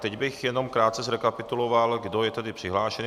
Teď bych jenom krátce zrekapituloval, kdo je tady přihlášen.